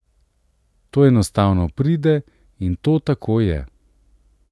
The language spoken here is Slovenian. To enostavno pride in to tako je.